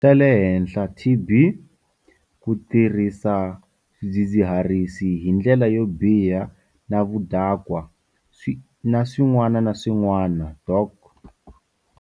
Ta le henhla, TB, ku tirhisa swidzidzi-harisi hi ndlela yo biha na vudakwa, na swin'wana na swin'wana, Dok.